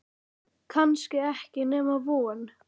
Kannski ekki nema von.